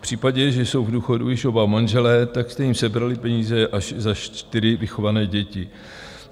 V případě, že jsou v důchodu již oba manželé, tak jste jim sebrali peníze až za čtyři vychované děti.